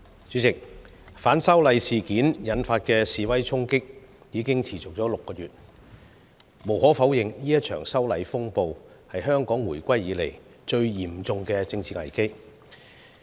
主席，反修例事件引發的示威衝擊已持續了6個月，無可否認，這場修例風暴是香港回歸以來最嚴重的政治危機。